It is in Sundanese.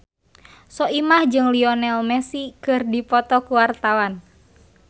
Soimah jeung Lionel Messi keur dipoto ku wartawan